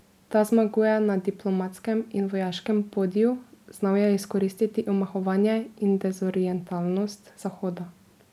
Ta zmaguje na diplomatskem in vojaškem podiju, znal je izkoristiti omahovanje in dezorientiranost Zahoda.